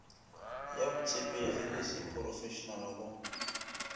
ya botshepegi le seporofešenale go